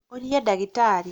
ũria ndagĩtarĩ